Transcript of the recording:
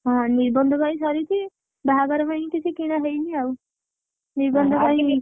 ହଁ ନିର୍ବନ୍ଧ ପାଇଁ ସରିଚି ବାହାଘର ପାଇଁ କିଛି କିଣା ହେଇନି ଆଉ ନିର୍ବନ୍ଧ ପାଇଁ